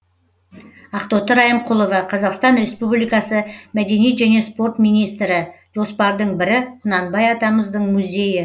ақтоты райымқұлова қазақстан республикасы мәдениет және спорт министрі жоспардың бірі құнанбай атамыздың музейі